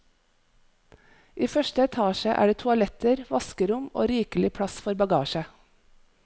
I første etasje er det toaletter, vaskerom og rikelig plass for bagasje.